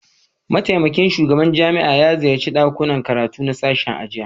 Mataimakin shugaban jami'ar ya ziyarci dakunan karatu na sashen a jiya